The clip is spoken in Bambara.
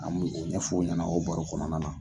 An bi ' u ɲɛ fɔ o ɲɛnɛ o baro kɔnɔna na.